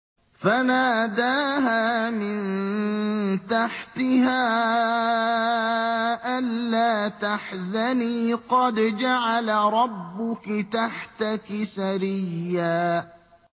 فَنَادَاهَا مِن تَحْتِهَا أَلَّا تَحْزَنِي قَدْ جَعَلَ رَبُّكِ تَحْتَكِ سَرِيًّا